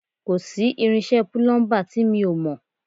Kò sí irinṣẹ́ púlúḿbà tí mi ò mọ̀